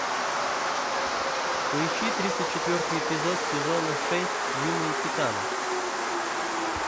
поищи тридцать четвертый эпизод сезона шесть юные титаны